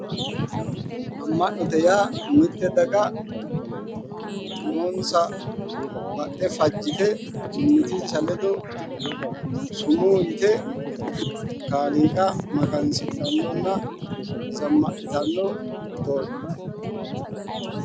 Amma'note yaa mitte daga umonsa baxxe fajjite mimmitinsa ledo sumuu yite Kaaliiqa magansidhannonna zammadhitanno doogooti.